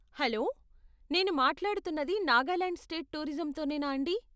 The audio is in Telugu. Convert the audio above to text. హలో, నేను మాట్లాడుతున్నది నాగాలాండ్ స్టేట్ టూరిజంతోనేనా అండీ?